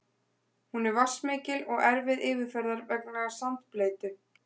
Hún er vatnsmikil og erfið yfirferðar vegna sandbleytu.